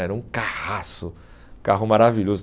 Era um carraço, carro maravilhoso.